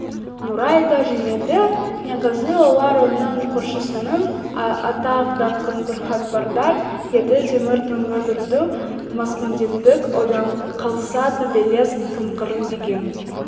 нұрай да жымиды негізі олар оның көршісінің атақ-даңқынанхабардар еді темір түнгі дырду маскүнемдік одан қалса төбелес қымқыру деген